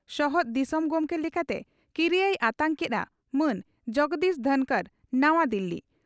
ᱥᱚᱦᱚᱫ ᱫᱤᱥᱚᱢ ᱜᱚᱢᱠᱮ ᱞᱮᱠᱟᱛᱮ ᱠᱤᱨᱤᱭᱟᱹᱭ ᱟᱛᱟᱝ ᱠᱮᱫᱼᱟ ᱢᱟᱱ ᱡᱚᱜᱽᱫᱤᱯ ᱫᱷᱚᱱᱠᱚᱨ ᱱᱟᱣᱟ ᱫᱤᱞᱤ